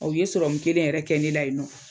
u ye sɔrɔmu kelen yɛrɛ kɛ ne la yen nɔ.